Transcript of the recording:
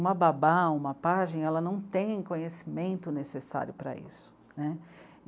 uma babá, uma pajem, ela não tem conhecimento necessário para isso, né.